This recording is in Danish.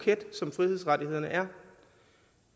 er